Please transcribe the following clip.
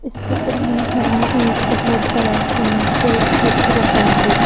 इस चित्र में हमें एक बोहोत बड़ा स्विमिंग पूल दिख रहा है।